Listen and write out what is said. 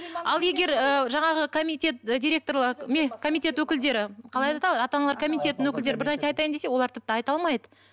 ал егер ыыы жаңағы комитет комитет өкілдері қалай ата аналар комитетінің өкілдері бір нәрсе айтайын десе олар тіпті айта алмайды